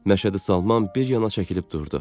Məşədi Salman bir yana çəkilib durdu.